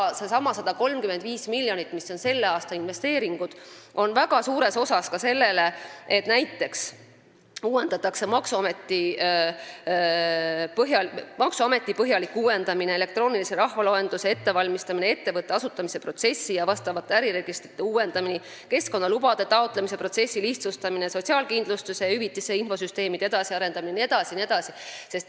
Seesama 135 miljonit, selle aasta investeeringud, on ka suuresti sellele suunatud, näiteks maksuameti põhjalikule uuendamisele, elektroonilise rahvaloenduse ettevalmistamisele, ettevõtte asutamise protsessi ja vastavate äriregistrite uuendamisele, keskkonnalubade taotlemise protsessi lihtsustamisele, sotsiaalkindlustushüvitiste infosüsteemide edasiarendamisele jne.